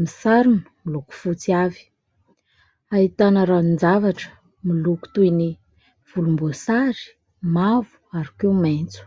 misarona miloko fotsy avy. Ahitana ranon-javatra miloko toy ny volomboasary, mavo ary koa maitso.